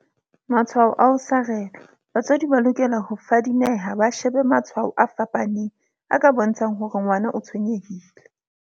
Matshwao a ho sarelwa Batswadi ba lokela ho fadi meha ba shebe matshwao a fapaneng a ka bontsha ng hore ngwana o tshwenyehile.